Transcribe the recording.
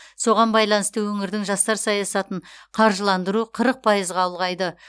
соған байланысты өңірдің жастар саясатын қаржыландыру қырық пайызға ұлғайды